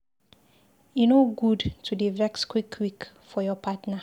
E no good to dey vex quick-quick for your partner.